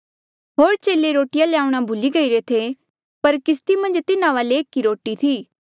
होर चेले रोटिया ल्याऊणा भूली गईरे थे पर किस्ती मन्झ तिन्हा वाले एक ई रोटी थी